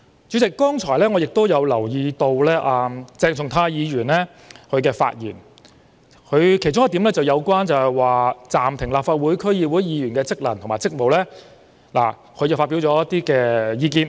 主席，我剛才留意到鄭松泰議員的發言的其中一點，提到有關暫停立法會議員或區議會議員的職能和職務。